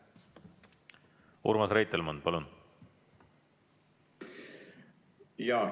Urmas Reitelmann, palun!